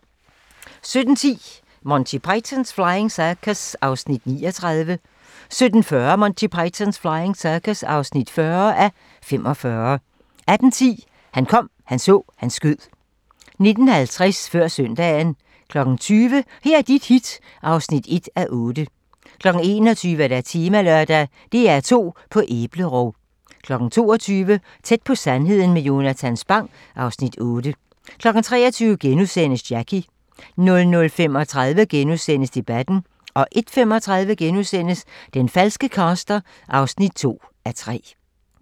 17:10: Monty Python's Flying Circus (39:45) 17:40: Monty Python's Flying Circus (40:45) 18:10: Han kom, han så, han skød 19:50: Før Søndagen 20:00: Her er dit hit (1:8) 21:00: Temalørdag: DR2 på æblerov 22:00: Tæt på sandheden med Jonatan Spang (Afs. 8) 23:00: Jackie * 00:35: Debatten * 01:35: Den falske caster (2:3)*